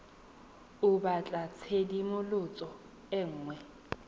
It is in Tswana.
o batla tshedimosetso e nngwe